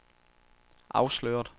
afsløret